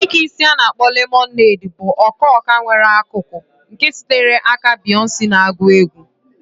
Ike isi a na akpo lemonade bụ ọka ọka nwere akụkụ nke sitere aka Beyoncé na-agụ egwú.